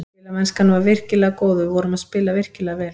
Spilamennskan var virkilega góð og við vorum að spila virkilega vel.